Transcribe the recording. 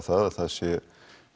að það sé